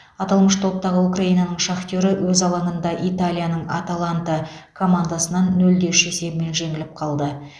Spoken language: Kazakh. аталмыш топтағы украинаның шахтері өз алаңында италияның аталанта командасынан нөл де үш есебімен жеңіліп қалды